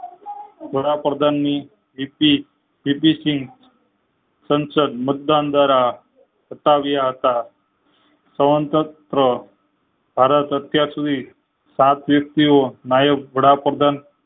વડાપ્રધાન ની સંસદ મતદાન દ્વારા પતાવીયા હતા સવગણત ભારત અત્યાર સુધી સાત વ્યક્તિ ઓ વડાપ્રધાન